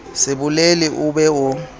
se bolele o be o